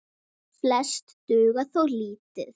Flest duga þó lítið.